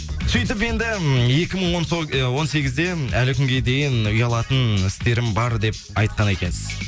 сөйтіп енді екі мың ы он сегізде әлі күнге дейін ұялатын істерім бар деп айтқан екенсіз